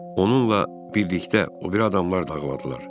Onunla birlikdə o biri adamlar da ağladılar.